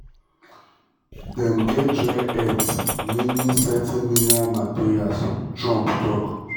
dem get great rare earth meaning certain minerals materials" trump tok.